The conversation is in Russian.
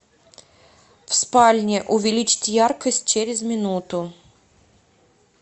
в спальне увеличить яркость через минуту